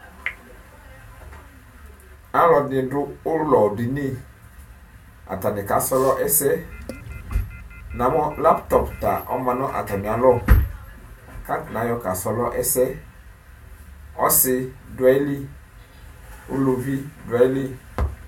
Alʋɛdini dʋ ʋlɔdini atani kasrɔ ɛsɛ namʋ laptɔp ta ɔma nʋ atami alɔ kʋ atani ayɔ kasrɔ ɛsɛ ɔsi dʋ ayili ʋlʋvi dʋ ayili